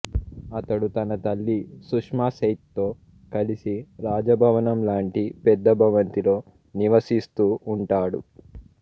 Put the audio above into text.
అతడు తన తల్లి సుష్మాసేథ్తో కలిసి రాజభవనం లాంటి పెద్ద భవంతిలో నివసిస్తూ ఉంటాడు